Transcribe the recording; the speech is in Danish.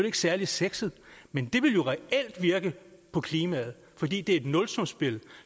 ikke særlig sexet men det vil jo reelt virke på klimaet fordi det er et nulsumsspil